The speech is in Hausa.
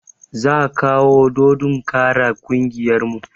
Za kawo dodon kara ƙungiyar mu